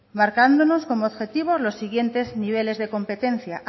marcándonos como objetivo los siguientes niveles de competencia